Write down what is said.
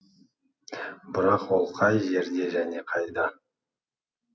бірақ ол қай жерде және қайда